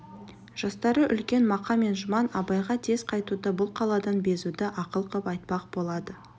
жастары үлкен мақа мен жұман абайға тез қайтуды бұл қаладан безуді ақыл қып айтпақ болады